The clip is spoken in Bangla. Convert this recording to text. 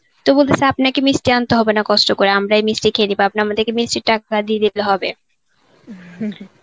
তো বলতাছি আপনাকে মিষ্টি আনতে হবে না কষ্ট করে. আমরা এই মিষ্টি খেয়ে নেব. আপনি আমাদেরকে মিষ্টির টাকা দিয়ে দিতে হবে,